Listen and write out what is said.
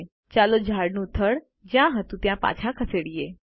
ચાલો ઝાડનું થડ જ્યાં હતું ત્યાંથી પાછળ ખસેડીએ